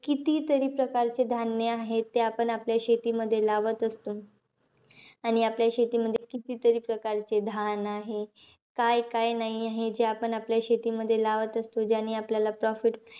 कितीतरी प्रकारचे धान्य आहे, ते आपण आपल्या शेतीमध्ये लावत असतो. आणि आपल्या शेतीमध्ये कितीतरी प्रकारचे धान आहे. काय-काय नाही आहे, जे आपण आपल्या शेतीमध्ये लावत असतो. ज्याने आपलाला profit,